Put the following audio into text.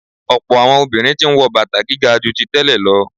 Ọ̀pọ̀ àwọn obìnrin tí ń wọ bàtà gíga ju tí tẹ́lẹ̀ lọ.